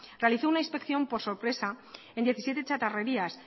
realizó una inspección por sorpresa en diecisiete chatarrerías